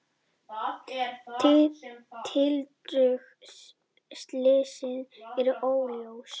Tildrög slyssins eru óljós.